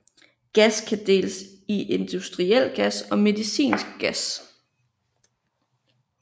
Gas kan deles i industriel gas og medicinsk gas